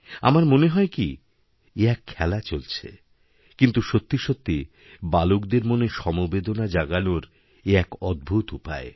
আমার মনে হয় কি এ এক খেলা চলছেকিন্তু সত্যি সত্যি বালকদের মনে সমবেদনা জাগানোর এ এক অদ্ভুত উপায়